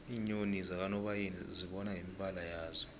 iinyoni zakanobayeni uzibona ngemibala yazo